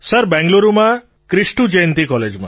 sir બેંગ્લુરુમાં ક્રિષ્ટુ જયંતી કૉલેજમાં